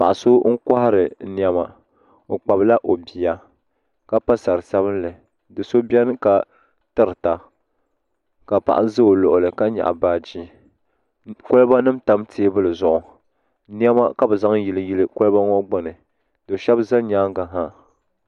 Paɣa so n kohari niɛma o.kpabila o bia ka pa sari sabinli do'so biɛni ka tirita ka paɣa za o luɣuli ka nyaɣi baaji koliba nima tam teebuli zuɣu niɛma la bɛ zaŋ yili yili koliba ŋɔ gbini do'sheba za nyaanga ha.